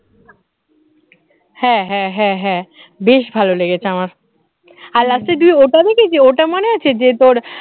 হ্যাঁ হ্যাঁ হ্যাঁ হ্যাঁ বেশ ভালো লেগেছে আমার, আর last এর দিকে ওটা দেখেছিস? ওটা মনে আছে যে তোর